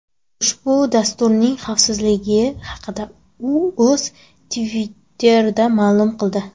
Ushbu dasturning xavfliligi haqida u o‘z Twitter’ida ma’lum qildi .